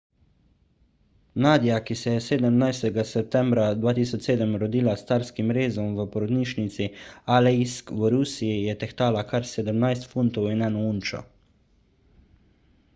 nadia ki se je 17 septembra 2007 rodila s carskim rezom v porodnišnici aleisk v rusiji je tehtala kar 17 funtov in 1 unčo